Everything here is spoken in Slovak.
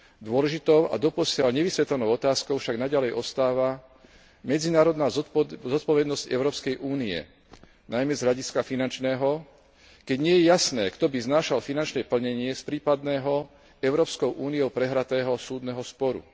Dôležitou a doposiaľ nevysvetlenou otázkou však naďalej ostáva medzinárodná zodpovednosť Európskej únie, najmä z hľadiska finančného, keď nie je jasné, kto by znášal finančné plnenie z prípadného Európskou úniou prehratého súdneho sporu.